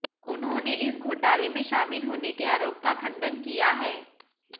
उन्होंने इस घोटाले में शामिल होने के आरोप का खंडन किया है